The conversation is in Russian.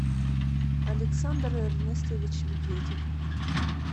александр эрнестович медведев